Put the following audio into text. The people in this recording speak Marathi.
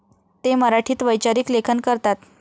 ते मराठीत वैचारिक लेखन करतात.